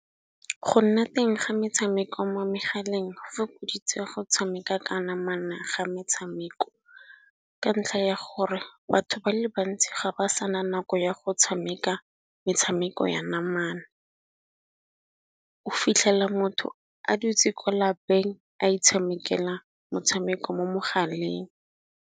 Go nna teng ga metshameko mo megaleng go fokoditse go tshameka ka namana ga metshameko. Ka ntlha ya gore batho ba le bantsi ga ba sena nako ya go tshameka metshameko ya namana, o fitlhela motho a dutse ko lapeng a itshamekela motshameko mo mogaleng.